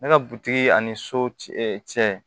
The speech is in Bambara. Ne ka butigi ani so cɛ cɛ